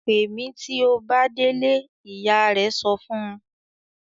"Pè mí tí ó bá délé!" Ìyá rẹ̀ sọ fún un.